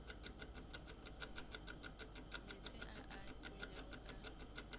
meetse a a tonyago ka